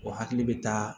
O hakili bɛ taa